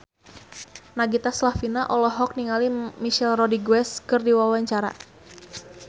Nagita Slavina olohok ningali Michelle Rodriguez keur diwawancara